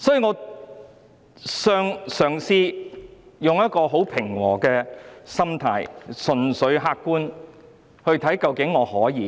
我嘗試以平和的心態，純粹客觀地作出審視。